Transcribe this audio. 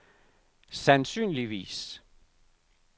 sandsynligvis